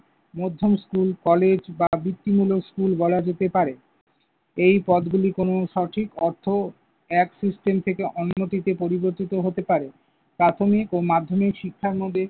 মধ্যম school, college বা বৃত্তিমুলক স্কুল বলা যেতে পারে। এই পদগুলি কোন সঠিক অর্থ এক system থেকে অন্য দিকে পরিবর্তিত হতে পারে। প্রাথমিক ও মাধ্যমিক শিক্ষার মধ্যে